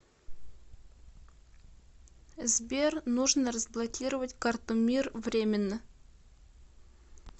сбер нужно разблокировать карту мир временно